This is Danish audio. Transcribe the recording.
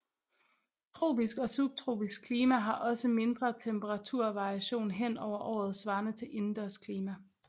Tropisk og subtropisk klima har også mindre temperaturvariation hen over året svarende til indendørs klima